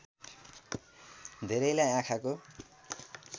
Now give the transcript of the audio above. धेरैलाई आँखाको